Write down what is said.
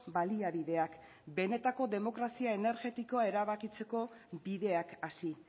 baliabideak benetako demokrazia energetikoa erabakitzeko bideak hasi